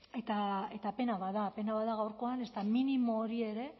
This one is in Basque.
eta pena bat da pena bat da gaurkoan ezta minimo hori ere